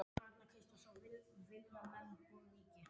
Mamma var líka að benda mér á það.